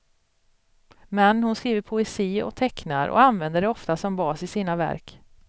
Men hon skriver poesi och tecknar och använder det ofta som bas i sina verk.